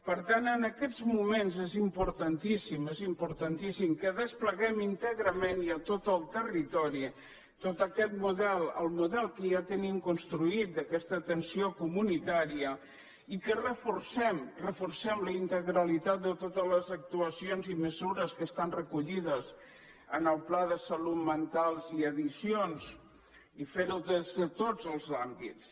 per tant en aquests moments és importantíssim és im·portantíssim que despleguem íntegrament i a tot el territori tot aquest model el model que ja tenim cons·truït d’aquesta atenció comunitària i que reforcem la reforcem la integralitat de totes les actuacions i me·sures que estan recollides en el pla de salut mental i addiccions i fer·ho des de tots els àmbits